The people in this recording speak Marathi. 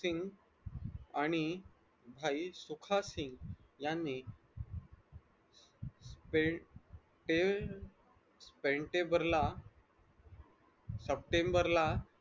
आणि भाई सुखासिन्ग यांनी स्पेंटेंबेरला सप्टेंबर ला